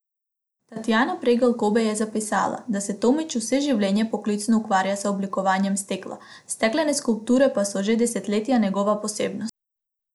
Tatjana Pregl Kobe je zapisala, da se Tomič vse življenje poklicno ukvarja z oblikovanjem stekla, steklene skulpture pa so že desetletja njegova posebnost.